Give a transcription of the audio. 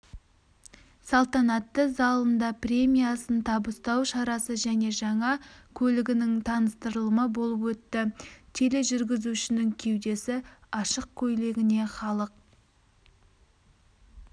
салтанатты залында премиясын табыстау шарасы және жаңа көлігінің таныстырылымы болып өтті тележүргізушінің кеудесі ашық көйлегіне халық